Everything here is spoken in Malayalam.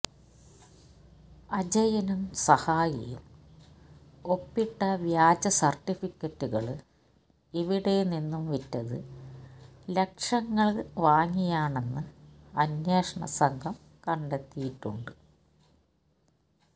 അജയനും സഹായിയും ഒപ്പിട്ട വ്യാജ സര്ട്ടിഫിക്കറ്റുകള് ഇവിടെ നിന്നും വിറ്റത് ലക്ഷങ്ങള് വാങ്ങിയാണെന്ന് അന്വേഷണ സംഘം കണ്ടെത്തിയിട്ടുണ്ട്്